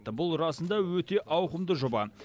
бұл расында өте ауқымды жоба